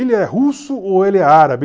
Ele é russo ou ele é árabe?